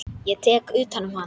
Ég tek utan um hana.